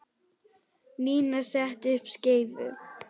Nína setti upp skeifu.